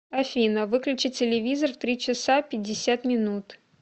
афина выключи телевизор в три часа пятьдесят минут